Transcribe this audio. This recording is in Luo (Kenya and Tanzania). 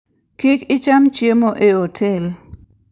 Kik icham chiemo e otel.